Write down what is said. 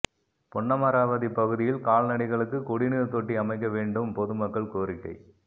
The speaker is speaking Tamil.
பொன்னமராவதி பகுதியில் கால்நடைகளுக்கு குடிநீர் தொட்டி அமைக்க வேண்டும் பொதுமக்கள் கோரிக்கை